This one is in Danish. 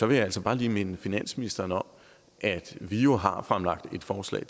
vil jeg altså bare lige minde finansministeren om at vi jo har fremlagt et forslag